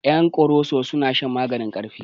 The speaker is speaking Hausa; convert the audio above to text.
Ƴan koroso suna shan maganin ƙarfi